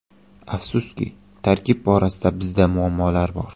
Afsuski, tarkib borasida bizda muammolar bor.